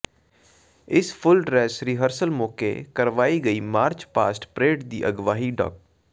ਇਸ full dress rehearsal ਮੌਕੇ ਕਰਵਾਈ ਗਈ ਮਾਰਚ ਪਾਸਟ ਪਰੇਡ ਦੀ ਅਗਵਾਈ ਡਾ